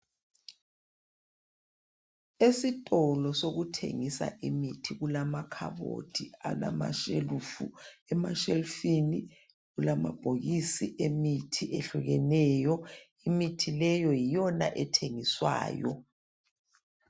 Esitolo sokuthengisa imithi kulamakhabothi alamashelufu emashelufuni kulamabhokisi emithi ehlukileyo imithi leyo yiyona ethengiswayo